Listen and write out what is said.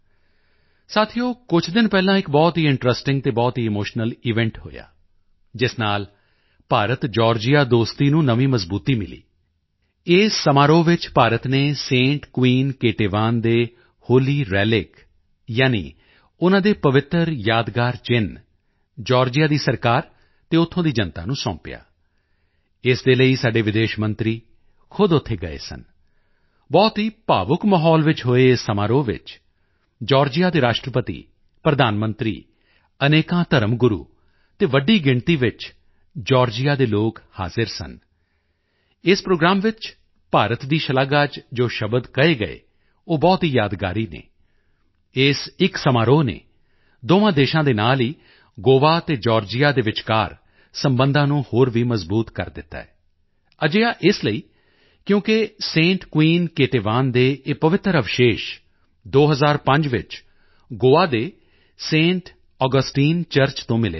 ਸਾਥੀਓ ਕੁਝ ਦਿਨ ਪਹਿਲਾਂ ਇੱਕ ਬਹੁਤ ਹੀ ਇੰਟਰੈਸਟਿੰਗ ਅਤੇ ਬਹੁਤ ਹੀ ਇਮੋਸ਼ਨਲ ਈਵੈਂਟ ਹੋਇਆ ਜਿਸ ਨਾਲ ਭਾਰਤਜਾਰਜੀਆ ਦੋਸਤੀ ਨੂੰ ਨਵੀਂ ਮਜ਼ਬੂਤੀ ਮਿਲੀ ਇਸ ਸਮਾਰੋਹ ਵਿੱਚ ਭਾਰਤ ਨੇ Saint Queen Ketevan Saint Queen Ketevan ਦੇ ਹੋਲੀ ਰੇਲਿਕ ਯਾਨੀ ਉਨ੍ਹਾਂ ਦੇ ਪਵਿੱਤਰ ਯਾਦਗਾਰ ਚਿੰਨ੍ਹ ਜਾਰਜੀਆ ਦੀ ਸਰਕਾਰ ਅਤੇ ਉੱਥੋਂ ਦੀ ਜਨਤਾ ਨੂੰ ਸੌਂਪਿਆ ਇਸ ਦੇ ਲਈ ਸਾਡੇ ਵਿਦੇਸ਼ ਮੰਤਰੀ ਖੁਦ ਉੱਥੇ ਗਏ ਸਨ ਬਹੁਤ ਹੀ ਭਾਵੁਕ ਮਾਹੌਲ ਵਿੱਚ ਹੋਏ ਇਸ ਸਮਾਰੋਹ ਚ ਜਾਰਜੀਆ ਦੇ ਰਾਸ਼ਟਰਪਤੀ ਪ੍ਰਧਾਨ ਮੰਤਰੀ ਅਨੇਕਾਂ ਧਰਮ ਗੁਰੂ ਅਤੇ ਵੱਡੀ ਗਿਣਤੀ ਵਿੱਚ ਜਾਰਜੀਆ ਦੇ ਲੋਕ ਹਾਜ਼ਰ ਸਨ ਇਸ ਪ੍ਰੋਗਰਾਮ ਵਿੱਚ ਭਾਰਤ ਦੀ ਸ਼ਲਾਘਾ ਚ ਜੋ ਸ਼ਬਦ ਕਹੇ ਗਏ ਉਹ ਬਹੁਤ ਹੀ ਯਾਦਗਾਰ ਹਨ ਇਸ ਇੱਕ ਸਮਾਰੋਹ ਨੇ ਦੋਹਾਂ ਦੇਸ਼ਾਂ ਦੇ ਨਾਲ ਹੀ ਗੋਆ ਅਤੇ ਜਾਰਜੀਆ ਦੇ ਵਿਚਕਾਰ ਸਬੰਧਾਂ ਨੂੰ ਵੀ ਹੋਰ ਮਜ਼ਬੂਤ ਕਰ ਦਿੱਤਾ ਹੈ ਅਜਿਹਾ ਇਸ ਲਈ ਕਿਉਂਕਿ Saint Queen Ketevan Saint Queen Ketevan ਦੇ ਇਹ ਪਵਿੱਤਰ ਅਵਸ਼ੇਸ਼ 2005 ਵਿੱਚ ਗੋਆ ਦੇ ਸੈਂਟ ਆਗਸਟਾਈਨ ਚਰਚ ਤੋਂ ਮਿਲੇ ਸਨ